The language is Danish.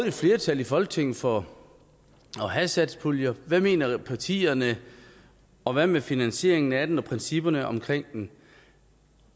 et flertal i folketinget for at have satspuljer hvad mener partierne og hvad med finansieringen af den og principperne omkring den